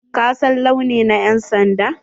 Ka san launi na yan'sanda?